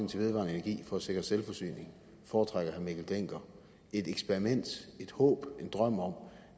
til vedvarende energi for at sikre selvforsyning foretrækker herre mikkel dencker et eksperiment et håb en drøm om